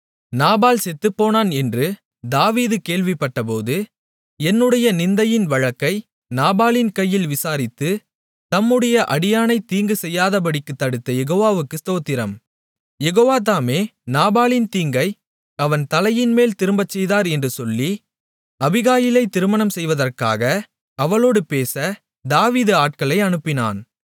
நாபால் செத்துப்போனான் என்று தாவீது கேள்விப்பட்டபோது என்னுடைய நிந்தையின் வழக்கை நாபாலின் கையில் விசாரித்து தம்முடைய அடியானை தீங்கு செய்யாதபடிக்குத் தடுத்த யெகோவாவுக்கு ஸ்தோத்திரம் யெகோவா தாமே நாபாலின் தீங்கை அவன் தலையின்மேல் திரும்பச்செய்தார் என்று சொல்லி அபிகாயிலை திருமணம் செய்வற்காக அவளோடு பேச தாவீது ஆட்களை அனுப்பினான்